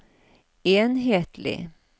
enhetlig